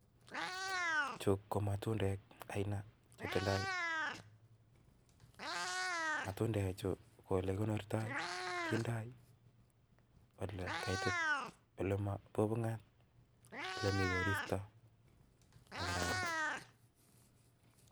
Chu ko matundek aina chetindoo, matundechu ko elekikonoorto kindoi olekaitit ole mi koristo